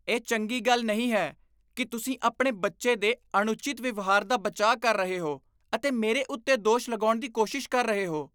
ਇਹ ਚੰਗੀ ਗੱਲ ਨਹੀਂ ਹੈ ਕਿ ਤੁਸੀਂ ਆਪਣੇ ਬੱਚੇ ਦੇ ਅਣਉਚਿਤ ਵਿਵਹਾਰ ਦਾ ਬਚਾਅ ਕਰ ਰਹੇ ਹੋ ਅਤੇ ਮੇਰੇ ਉੱਤੇ ਦੋਸ਼ ਲਗਾਉਣ ਦੀ ਕੋਸ਼ਿਸ਼ ਕਰ ਰਹੇ ਹੋ।